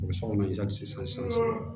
U bɛ sokɔnɔ sisan